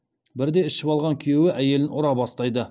бірде ішіп алған күйеуі әйелін ұра бастайды